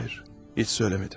Xeyr, heç demədim.